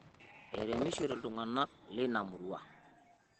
Eremishote ltung'ana leina murua